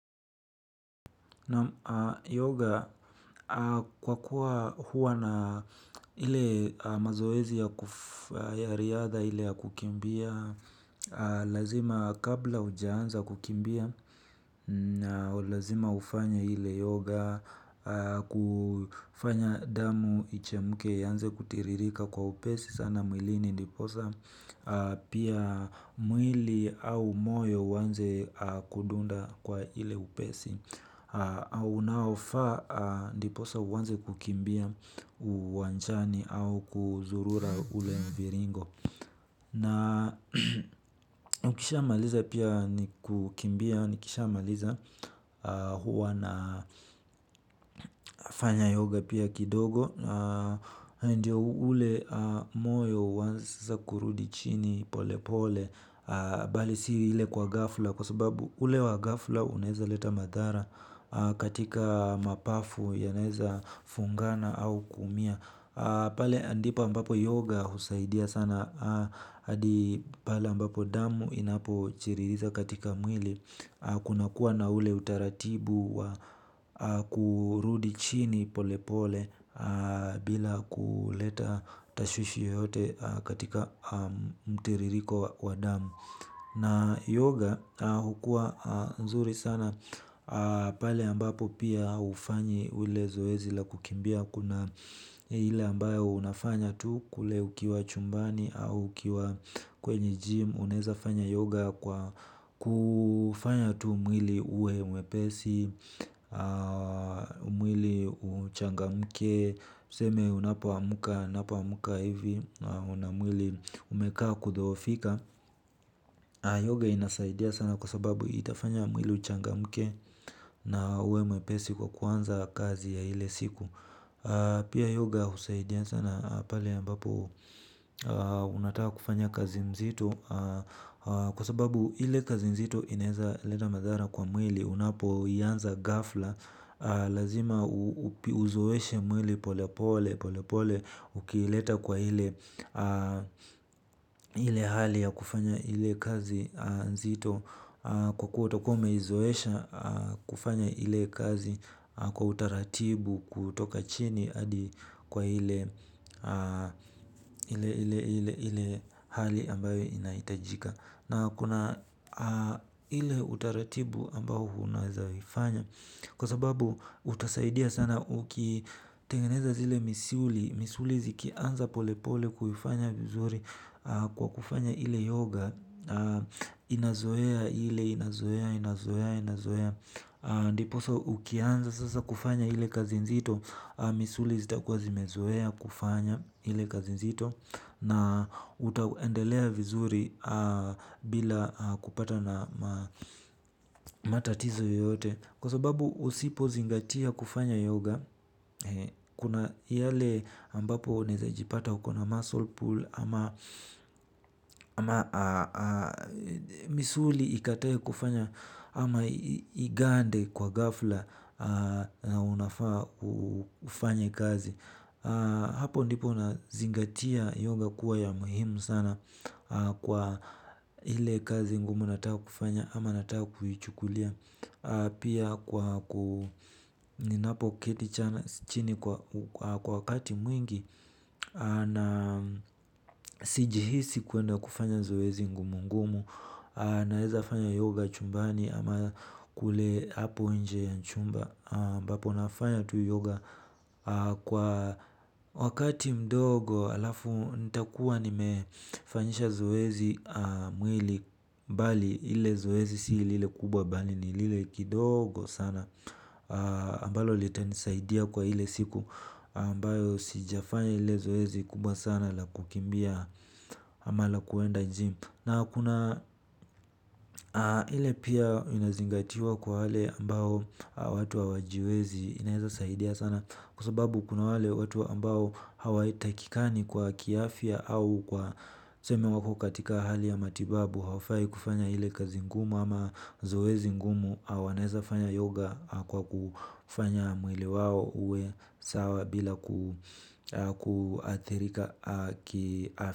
Na yoga kwa kuwa huwa na hile mazoezi ya riadha hile ya kukimbia. Lazima kabla ujaanza kukimbia. Na ulazima ufanya hile yoga. Kufanya damu ichemuke yanze kutiririka kwa upesi sana milini ndiposa. Pia mwili au moyo wanze kudunda kwa hile upesi. Au naofaa ndiposa uwanze kukimbia uwanjani au kuzurura ule mviringo. Na ukishamaliza pia nikukimbia, nikishamaliza huwa na fanya yoga pia kidogo. Ndiyo ule moyo uwanze kurudi chini pole pole bali si hile kwa gafla kwa sababu ule wa gafla uneza leta madhara katika mapafu yaneza fungana au kuumia pale ndipo ambapo yoga husaidia sana hadi pae ambapo damu inapo chiririza katika mwili kuna kuwa na ule utaratibu kurudi chini pole pole bila kuleta tashwishi yoyote katika mteririko wadamu na yoga hukua nzuri sana pale ambapo pia ufanyi ule zoezi la kukimbia kuna hile ambayo unafanya tu kule ukiwa chumbani au ukiwa kwenye gym uneza fanya yoga kwa kufanya tu mwili uwe mwepesi mwili uchangamke tuseme unapoamuka unapoamuka hivi. Una mwili umekaa kudhoofika Yoga inasaidia sana kwa sababu itafanya mwili uchangamke. Na uwe mwepesi kwa kwanza kazi ya hile siku. Pia yoga usaidia sana pali ambapo unatawa kufanya kazi mzitu. Kwa sababu hile kazi mzitu ineza leta madhara kwa mwili. Unapo iyanza gafla. Lazima uzueshe mwili pole pole pole pole ukileta kwa hile hali ya kufanya hile kazi nzito kwa kuwa utakuwa ume izoesha kufanya hile kazi kwa utaratibu kutoka chini adi kwa hile hali ambayo inaitajika. Na kuna hile utaratibu ambao hunaezaifanya. Kwa sababu utasaidia sana ukitengeneza zile misuli. Misuli zikianza pole pole kuvifanya vizuri kwa kufanya hile yoga. Inazoea hile, inazoea, inazoea, inazoea. Ndiposa ukianza sasa kufanya hile kazinzito. Misuli zitakua zimezoea kufanya hile kazinzito. Na utaendelea vizuri bila kupata na matatizo yote. Kwa sababu usipo zingatia kufanya yoga. Kuna yale ambapo neza jipata hukona muscle pool. Ama misuli ikataye kufanya ama igande kwa gafla na unafaa ufanye kazi hapo ndipo unazingatia yoga kuwa ya muhimu sana kwa hile kazi ngumu natakufanya ama nataa kuhichukulia pia kwa ku ninapo ketichana chini kwa kati mwingi na sijiisi kuenda kufanya zoezi ngumungumu naeza fanya yoga chumbani ama kula hapo nje ya chumba am, bapo nafanya tu yoga. Kwa wakati mdogo. Alafu nita kuwa ni mefanyisha zoezi mwili. Mbali ile zoezi si lile kubwa bali ni lile kidogo sana ambalo litanisaidia kwa ile siku ambalo sijafanya ile zoezi kubwa sana la kukimbia ama la kuenda jim. Na kuna ile pia inazingatiwa kwa hale ambao watu wa wajiwezi inaiza saidia sana kusababu kuna wale watu wa ambao hawa itakikani kwa kiafya au kwa seme wako katika ahali ya matibabu haufai kufanya hile kazingumu ama zoezingumu awanaiza fanya yoga kwa kufanya mwile wao uwe sawa bila kuathirika kiafya.